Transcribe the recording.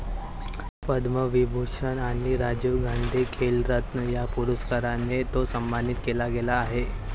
पद्मविभूषण आणि राजीव गांधी खेलरत्न या पुरस्कारांनी तो सन्मानित केला गेला आहे